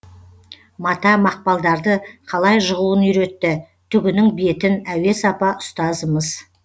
мата мақпалдарды қалай жығуын үйретті түгінің бетін әуес апа ұстазымыз